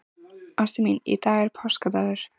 Ástin mín, í dag er páskadagur.